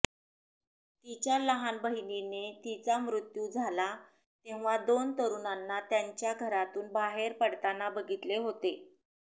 तिच्या लहान बहिणीने तिचा मृत्यू झाला तेव्हा दोन तरुणांना त्यांच्या घरातून बाहेर पडताना बघितले होते